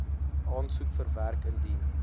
aansoek verwerk indien